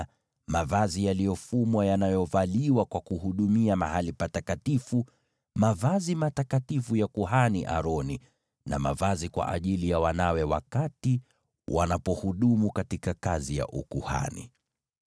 na mavazi yaliyofumwa yanayovaliwa wakati wa huduma katika mahali patakatifu, yaani mavazi matakatifu ya kuhani Aroni na mavazi kwa ajili ya wanawe watakapokuwa wakihudumu katika kazi ya ukuhani.